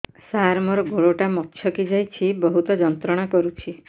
ସାର ମୋର ଗୋଡ ଟା ମଛକି ଯାଇଛି ବହୁତ ଯନ୍ତ୍ରଣା କରୁଛି